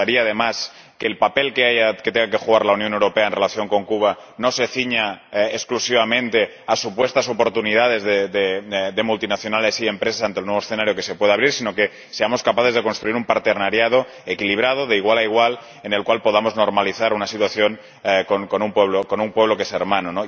Nos gustaría, además, que el papel que tenga que jugar la Unión Europea en relación con Cuba no se ciña exclusivamente a supuestas oportunidades de multinacionales y empresas ante el nuevo escenario que se pueda abrir, sino que seamos capaces de construir una asociación equilibrada, de igual a igual, en la que podamos normalizar una situación con un pueblo que es hermano.